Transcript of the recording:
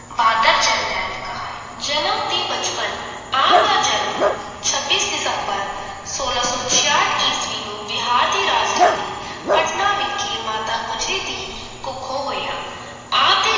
ਬਹਾਦਰ ਜਰਨੈਲ ਕਹਾਏ L ਜਨਮ ਤੇ ਬਚਪਨ - ਆਪ ਦਾ ਜਨਮ ਛੱਬੀਸ ਦਿਸੰਬਰ ਸੋਲਾਂ ਸੌ ਛਆਠ ਈਸਵੀ ਨੂੰ ਬਿਹਾਰ ਦੀ ਰਾਜਧਾਨੀ ਪਟਨਾ ਵਿਖੇ ਮਾਤਾ ਗੁਜਰੀ ਦੀ ਕੁੱਖੋਂ ਹੋਇਆ ਆਪ ਦੇ